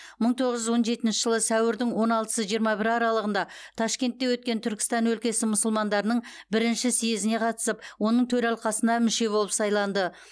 мың тоғыз жүз он жетінші жылы сәуірдің он алтысы жиырма бірі аралығында ташкентте өткен түркістан өлкесі мұсылмандарының бірінші съезіне қатысып оның төралқасына мүше болып сайланды